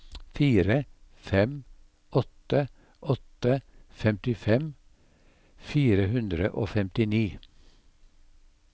fire fem åtte åtte femtifem fire hundre og femtini